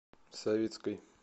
савицкой